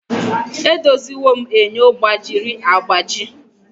Edoziwo m enyo gbajiri agbaji